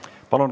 Palun!